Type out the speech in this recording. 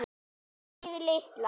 Greyið litla!